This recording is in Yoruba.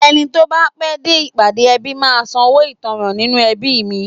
Ẹni tó bá pẹ́ dé ìpàdé ẹbí máa ń sanwó ìtanràn nínú ẹbí mi